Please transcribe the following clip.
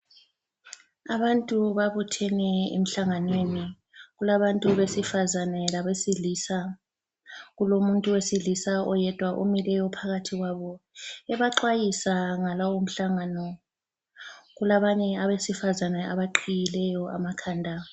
Abantu babuthene emhlanganweni. Kulabantu besifazane labesilisa. Kulomuntu wesilisa oyedwa omileyo phakathi kwabo ebaxwayisa ngalomhlangano. Kulabanye abesifazana abaqhiyileyo amakhanda.